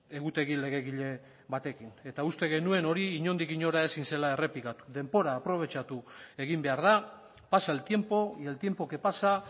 egutegi legegile batekin eta uste genuen hori inondik inora ezin zela errepikatu denbora aprobetxatu egin behar da pasa el tiempo y el tiempo que pasa